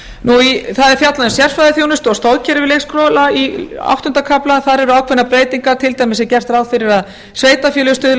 skólanámskrám það er fjallað um sérfræðiþjónustu og stoðkerfi leikskóla í áttunda kafla þar eru ákveðnar breytingar til dæmis er gert ráð fyrir að sveitarfélög stuðli að